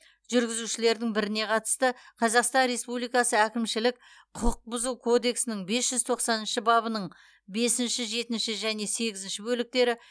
жүргізушілердің біріне қатысты қазақстан республикасы әкімшілік құқық бұзу кодексінің бес жүз тоқсаныншы бабының бесінші жетінші және сегізінші бөліктері